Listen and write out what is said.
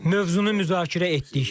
Mövzunu müzakirə etdik.